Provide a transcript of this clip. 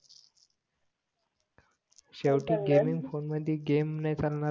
शेवटी gaming phone मध्ये game नाय चालणार